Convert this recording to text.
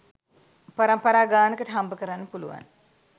පරම්පරා ගානකට හම්බකරන්න පුළුවන්.